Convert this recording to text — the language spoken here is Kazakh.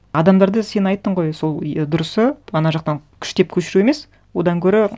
адамдарды сен айттың ғой сол дұрысы ана жақтан күштеп көшіру емес одан гөрі